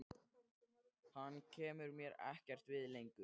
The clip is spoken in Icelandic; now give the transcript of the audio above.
Hann kemur mér ekkert við lengur.